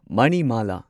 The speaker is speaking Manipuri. ꯃꯅꯤꯃꯥꯂꯥ